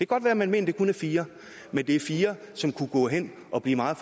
godt være man mener det kun er fire men det er fire som kunne gå hen og blive meget